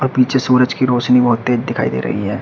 और पीछे सूरज की रोशनी बहोत तेज दिखाई दे रही है।